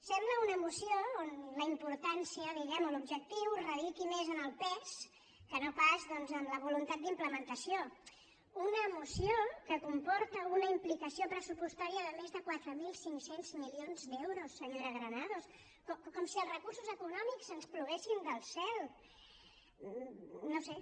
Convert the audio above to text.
sembla una moció on la importància diguemne o l’objectiu radiqui més en el pes que no pas doncs en la voluntat d’implementació una moció que comporta una implicació pressupostària de més de quatre mil cinc cents milions d’euros senyora granados com si els recursos econòmics ens ploguessin del cel no ho sé